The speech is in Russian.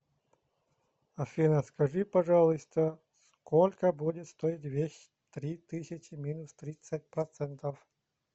афина скажи пожалуйста сколько будет стоить вещь три тысячи минус тридцать процентов